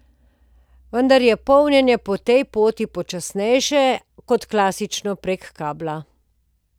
Vendar je polnjenje po tej poti počasnejše kot klasično prek kabla.